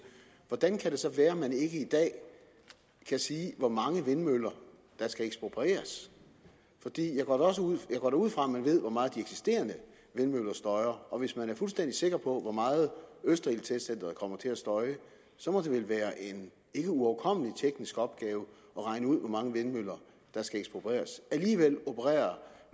hvordan kan det så være at man ikke i dag kan sige hvor mange vindmøller der skal eksproprieres jeg går da ud fra at man ved hvor meget de eksisterende vindmøller støjer og hvis man er fuldstændig sikker på hvor meget østerildtestcenteret kommer til at støje så må det vel være en ikkeuoverkommelig teknisk opgave at regne ud hvor mange vindmøller der skal eksproprieres alligevel opererer